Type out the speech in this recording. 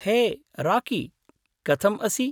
हे, राकी, कथम् असि?